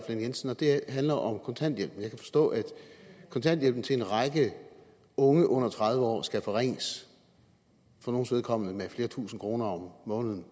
lahn jensen og det handler om kontanthjælp jeg kan forstå at kontanthjælpen til en række unge under tredive år skal forringes for nogles vedkommende med flere tusinde kroner om måneden